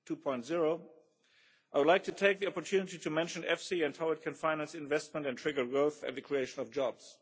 2.0, I would like to take the opportunity to mention EFSI and how it can finance investment, trigger growth and the creation of jobs.